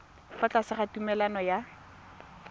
fa tlase ga tumalano ya